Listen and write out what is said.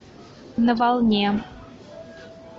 на волне